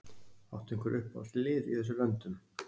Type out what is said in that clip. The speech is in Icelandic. Áttu einhver uppáhaldslið í þessum löndum?